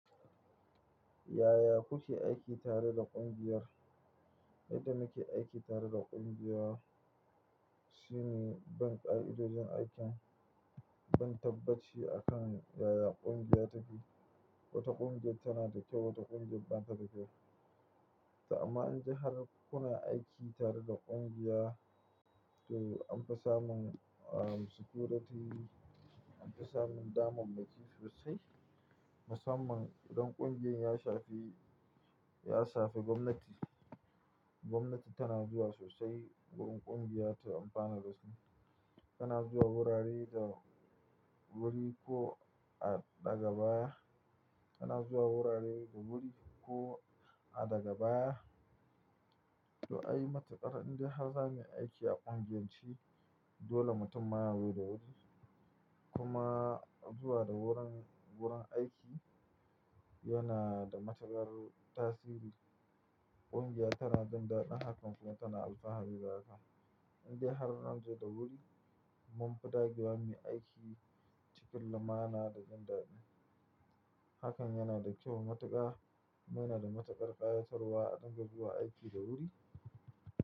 Yaya kuke aiki tare da ƙungiyar? Yadda muke aiki tare da ƙungiya shine bin ka idojin aikin, don tabbaci akan yaya ƙungiya take. Wata ƙungiya tana da kyau, wata ƙungiya ban ta da kyau. To amma indai har kuna aiki tare da ƙungiya, to an fi samun, uhm, security, an fi samun damammaki sosai. Musamman idan ƙungiyar ya shafi, ya shafi gwamnati. Gwamnati tana zuwa sosai wurin ƙungiya ta amfanar da su. Tana zuwa wurare da wuri ko a daga baya, tana zuwa wurare da wuri ko a daga baya. To, ai matukar in dai har za mu yi aiki a ƙungiyar ce, dole mutum ma yaxo da wuri. Kuma zuwa da wurin, wurin aiki yana da matukar tasiri. Ƙungiya tana jin daɗin hakan kuma tana alfahari da haka. In dai har an zo da wuri, mun fi ɗage wa mu yi aiki cikin lumana da jin daɗi. Hakan yana da kyau matuƙa. Yana da matukar ƙayatarwa a dunga zuwa aiki da wuri.